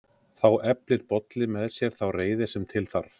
Þá eflir Bolli með sér þá reiði sem til þarf: